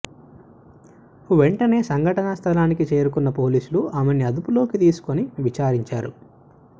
వెంటనే సంఘటనా స్థలానికి చేరుకున్న పోలీసులు ఆమెని అదుపులోకి తీసుకోని విచారించారు